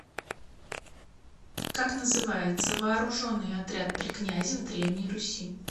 как называется вооруженный отряд при князе в древней руси